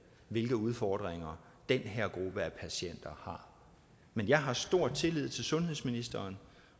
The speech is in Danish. hvilke udfordringer den her gruppe af patienter har men jeg har stor tillid til at sundhedsministeren